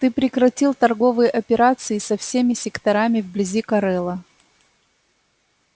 ты прекратил торговые операции со всеми секторами вблизи корела